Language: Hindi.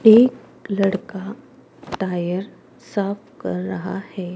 एक लड़का टायर साफ कर रहा है।